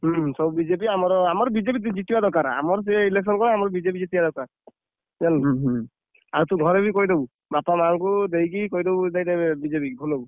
ହୁଁ, ସବୁ BJP ଆମର ଆମର BJP ଜିତିବା ଦରକାର। ଆମର ସେ election କଣ BJP ଜିତିବା ଦରକାର। ଜାଣିଲୁ ଆଉ ତୁ ବି ଘରେ କହିଦବୁ। ବାପା ମାଆଙ୍କୁ ଦେଇକି କହିଦବୁ ଦେଇଦେବେ BJP କି ।